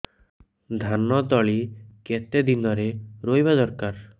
ଧାନ ତଳି କେତେ ଦିନରେ ରୋଈବା ଦରକାର